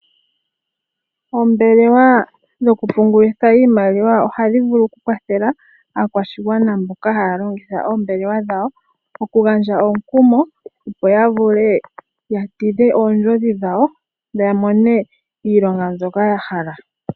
Oombelewa dho ku pungulitha iimaliwa, ohadhi vulu oku kwathela aakwashigwana mboka haya longitha oombelewa dhawo oku gandja omukumo, opo ya vule ya tidhe oondjodhi dhawo, ya mone iilonga mbyoka ya hala.